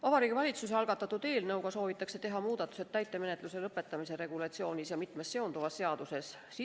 Vabariigi Valitsuse algatatud eelnõuga soovitakse teha muudatused täitemenetluse lõpetamise regulatsioonis ja sellega seonduvalt ka mitmes teises seaduses.